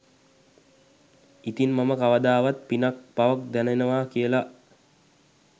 ඉතින් මම කවදාවත් පිනක් පවක් දැනෙනවා කියල